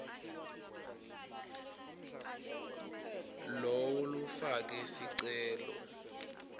lowo lofake sicelo